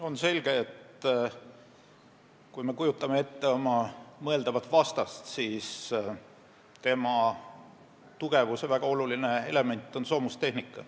On selge, et kui me kujutame ette oma mõeldavat vastast, siis on tema tugevuse väga oluline element soomustehnika.